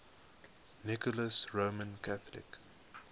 nicholas roman catholic